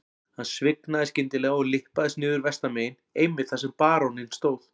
Hann svignaði skyndilega og lyppaðist niður vestanmegin einmitt þar sem baróninn stóð.